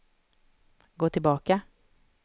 gå tillbaka